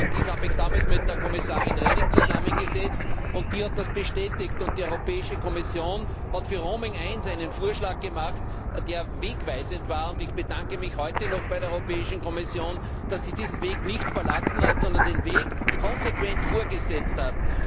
Ich habe mich damals mit der Kommissarin Reding zusammengesetzt und die hat das bestätigt. Die Europäische Kommission hat für Roaming I einen Vorschlag gemacht hat, der wegweisend war. Ich bedanke mich heute noch bei der Europäischen Kommission, dass sie diesen Weg nicht verlassen hat, sondern den Weg konsequent fortgesetzt hat.